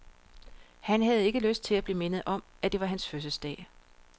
Han havde ikke lyst til at blive mindet om, at det var hans fødselsdag.